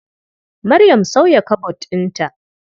Maryam sauya kabod ɗinta.